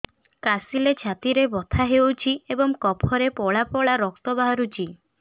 କାଶିଲେ ଛାତି ବଥା ହେଉଛି ଏବଂ କଫରେ ପଳା ପଳା ରକ୍ତ ବାହାରୁଚି